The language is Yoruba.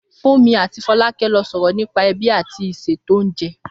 Fúnmi àti Fọlákẹ́ ló sọ̀rọ̀ nípa ẹbí àti ìṣètò oúnjẹ